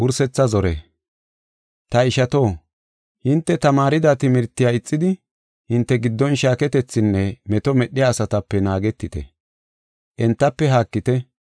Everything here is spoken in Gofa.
Ta ishato, hinte tamaarida timirtiya ixidi, hinte giddon shaaketethinne meto medhiya asatape naagetite. Entafe haakite.